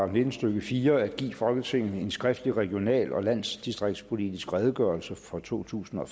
nitten stykke fire at give folketinget en skriftlig regional og landdistriktspolitisk redegørelse for totusinde og